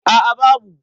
a a babu